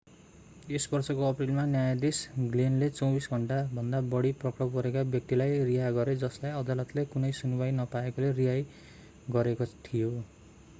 यस वर्षको अप्रिलमा न्यायाधीश ग्लेनले 24 घण्टाभन्दा बढी पक्राउ परेका व्यक्तिलाई रिहा गरे जसलाई अदालतले कुनै सुनुवाइ नपाएकोले रिहा गरेको थियो